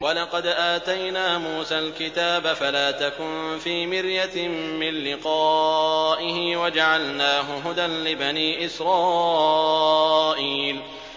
وَلَقَدْ آتَيْنَا مُوسَى الْكِتَابَ فَلَا تَكُن فِي مِرْيَةٍ مِّن لِّقَائِهِ ۖ وَجَعَلْنَاهُ هُدًى لِّبَنِي إِسْرَائِيلَ